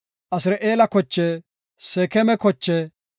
Asir7eela koche, Seekema kochaa,